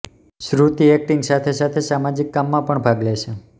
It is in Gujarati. શ્રુતિ એક્ટિંગ સાથે સાથે સામાજિક કામમાં પણ ભાગ લે છે